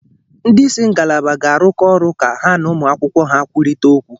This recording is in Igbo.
Ndị isi ngalaba ga-arụkọ ọrụ ka ha n'ụmụ akwụkwọ ha kwurịta okwu.